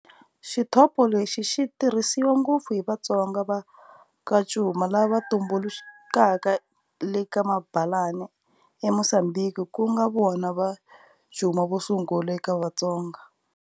Xithopo lexi xi tirhisiwa ngopfu hi vaTsonga va ka Cuma lava tumbulukaka le ka Mabalani e Musambiki kunga vona va Cuma vo sungula eka vaTsonga.